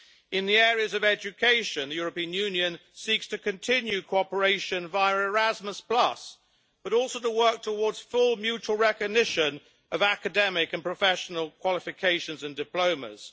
In the area of education, the European Union seeks to continue cooperation via Erasmus, but also to work towards full mutual recognition of academic and professional qualifications and diplomas.